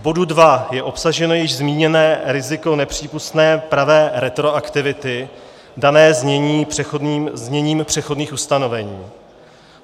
V bodu 2 je obsaženo již zmíněné riziko nepřípustné pravé retroaktivity dané zněním přechodných ustanovení.